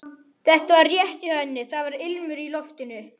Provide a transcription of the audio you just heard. Þetta var rétt hjá henni, það var ilmur í loftinu.